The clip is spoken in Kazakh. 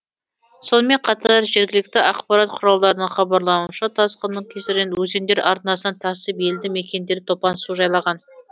сонымен қатар жергілікті ақпарат құралдарының хабарлауынша тасқынның кесірінен өзендер арнасынан тасып елді мекендерді топан су жайлаған